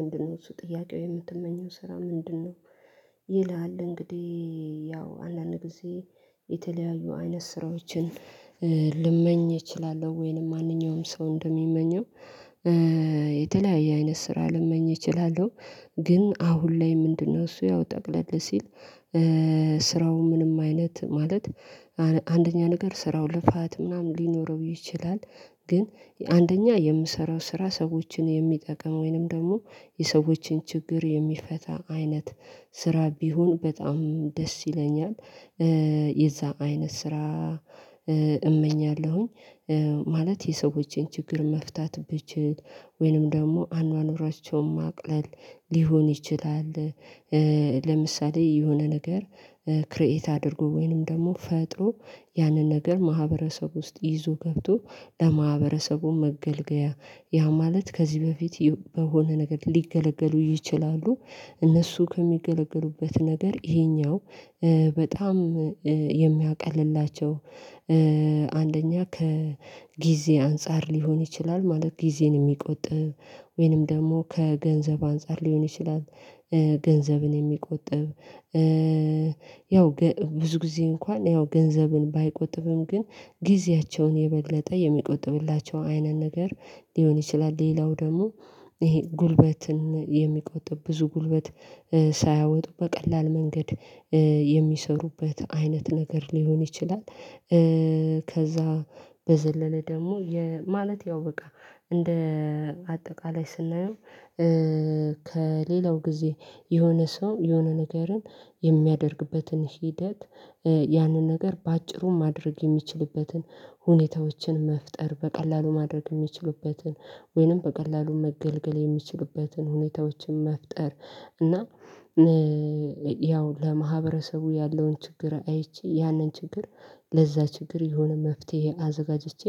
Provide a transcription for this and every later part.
ምንድነው እሱ ጥያቄው የምትመኘው ስራ ምንድነው? ይላል እንግዲህ ያው አንዳንድ ጊዜ የተለያዩ አይነት ስራዎችን ልመኝ እችላለሁ ወይንም ማንኛውም ሰው እንደሚመኘው የተለያየ አይነት ስራ ልመኝ እችላለሁ። ግን አሁን ላይ ምንድነው እሱ ያው ጠቅለል ሲል ስራው ምንም አይነት ማለት አንደኛ ነገር ስራው ልፋት ምናምን ሊኖረው ይችላል ግን አንደኛ የምሰራው ስራ ሰዎችን የሚጠቅመው ወይንም ደግሞ የሰዎችን ችግር የሚፈታ አይነት ስራ ቢሆን በጣም ደስ ይለኛል። የዛ አይነት ስራ እመኛለሁኝ ማለት የሰዎችን ችግር መፍታት ብችል ወይንም ደግሞ አኗኗራቸውን ማቅለል ሊሆን ይችላል። ለምሳሌ የሆነ ነገር ክሬት አድርጎ ወይንም ደግሞ ፈጥሮ ያንን ነገር ማህበረሰብ ውስጥ ይዞ ገብቶ ለማህበረሰቡ መገልገያ ያ ማለት ከዚህ በፊት በሆነ ነገር ሊገለገሉ ይችላሉ እነሱ ከሚገለገሉበት ነገር ይሄኛው በጣም የሚያቀልላቸው አንደኛ ከጊዜ አንፃር ሊሆን ይችላል ማለት ጊዜን የሚቆጥብ ወይንም ደግሞ ከገንዘብ አንፃር ሊሆን ይችላል። ገንዘብን የሚቆጥብ ያው ብዙ ጊዜ እንኳን ያው ገንዘብን ባይቆጥብም ግን ጊዜያቸውን የመግለጠ የሚቆጥብላቸው አይነት ነገር ሊሆን ይችላል ሌላው ደግሞ ይሄ ጉልበትን የሚቆጥብ ብዙ ጉልበት ሳያወጡ በቀላል መንገድ የሚሰሩበት አይነት ነገር ሊሆን ይችላል። ከዛ በዘለለ ደግሞ ማለት ያው በቃ እንደ አጠቃላይ ስናየው ከሌላው ጊዜ የሆነ ሰው የሆነ ነገርን የሚያደርግበትን ሂደት ያንን ነገር በአጭሩ ማድረግ የሚችልበትን ሁኔታዎችን መፍጠር በቀላሉ ማድረግ የሚችልበትን ወይንም በቀላሉ መገልገል የሚችሉበትን ሁኔታዎችን መፍጠር እና ያው ለማህበረሰቡ ያለውን ችግር አይቼ ያንን ችግር ለዛ ችግር የሆነ መፍትሄ አዘጋጅቼ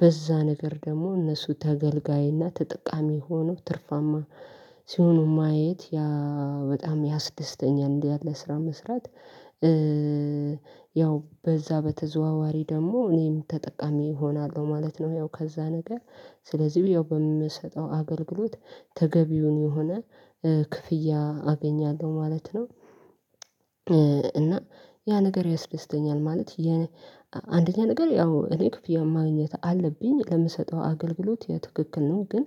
በዛ ነገር ደግሞ እነሱ ተገልጋይና ተጠቃሚ ሆኖ ትርፋማ ሲሆኑ ማየት ያ በጣም ያ ስድስተኛ እንዲህ ያለ ስራ መስራት ያው በዛ በተዘዋዋሪ ደግሞ እኔም ተጠቃሚ እሆናለሁ ማለት ነው። ያው ከዛ ነገር ስለዚህ ያው በምሰጠው አገልግሎት ተገቢውን የሆነ ክፍያ አገኛለሁ ማለት ነው። እና ያ ነገር ያስደስተኛል ማለት አንደኛ ነገር ያው እኔ ክፍያ ማግኘት አለብኝ ለምሰጠው አገልግሎት የትክክል ነው ግን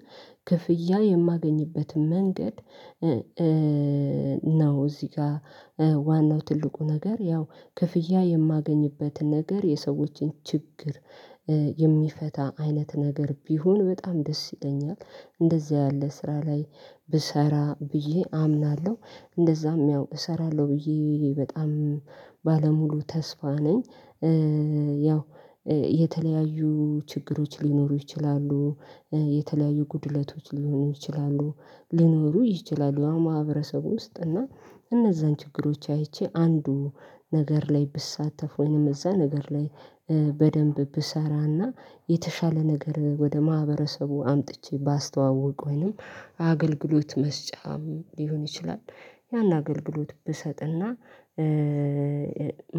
ክፍያ የማገኝበትም መንገድ ነው እዚህ ጋር ዋናው ትልቁ ነገር ያው ክፍያ የማገኝበትን ነገር የሰዎችን ችግር የሚፈታ አይነት ነገር ቢሆን በጣም ደስ ይለኛል እንደዚህ ያለ ስራ ላይ ብሰራ ብዬ አምናለሁ እንደዛም ያው እሰራለሁ ብዬ በጣም ባለሙሉ ተስፋ ነኝ። ያው የተለያዩ ችግሮች ሊኖሩ ይችላሉ የተለያዩ ጉድለቶች ሊሆኑ ይችላሉ ሊኖሩ ይችላሉ አሁን ማህበረሰቡ ውስጥ እና እነዛን ችግሮች አይቼ አንዱ ነገር ላይ ብሳተፍ ወይንም እዛ ነገር ላይ በደንብ ብሰራና የተሻለ ነገር ወደ ማህበረሰቡ አምጥቼ ባስተዋውቅ ወይንም አገልግሎት መስጫም ሊሆን ይችላል ያን አገልግሎት ብሰጥና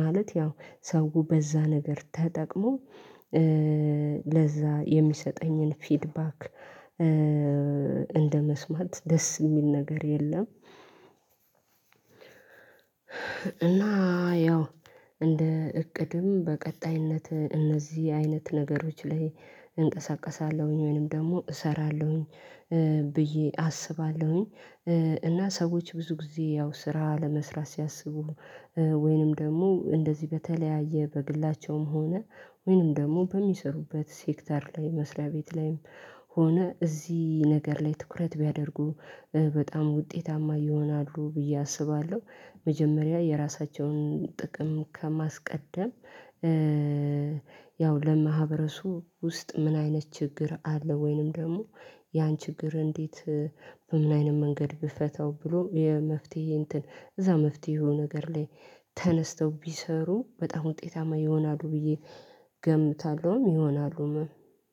ማለት ያው ሰው በዛ ነገር ተጠቅሞ ለዛ የሚሰጠኝን ፊድባክ እንደመስማት ደስ የሚል ነገር የለም። እና ያው እንደ እቅድም በቀጣይነት እነዚህ አይነት ነገሮች ላይ እንቀሳቀሳለሁኝ ወይንም ደግሞ እሰራለሁኝ ብዬ አስባለሁኝ። እና ሰዎች ብዙ ጊዜ ያው ስራ ለመስራት ሲያስቡ ወይንም ደግሞ እንደዚህ በተለያየ በግላቸውም ሆነ ወይንም ደግሞ በሚሰሩበት ሴክተር ላይ መስሪያ ቤት ላይም ሆነ እዚህ ነገር ላይ ትኩረት ቢያደርጉ በጣም ውጤታማ ይሆናሉ ብዬ አስባለሁ። መጀመሪያ የራሳቸውን ጥቅም ከማስቀደም ያው ለማህበረሱ ውስጥ ምን አይነት ችግር አለ? ወይንም ደግሞ ያን ችግር እንዴት ኢንላይን መንገድ ብፈታው ብሎ የመፍትሄ እንትን እዛ መፍትሄ የሆነ ነገር ላይ ተነስተው ቢሰሩ በጣም ውጤታማ ይሆናሉ ብዬ ገምታለሁም ይሆናሉ።